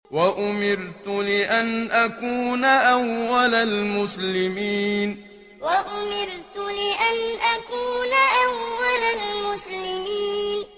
وَأُمِرْتُ لِأَنْ أَكُونَ أَوَّلَ الْمُسْلِمِينَ وَأُمِرْتُ لِأَنْ أَكُونَ أَوَّلَ الْمُسْلِمِينَ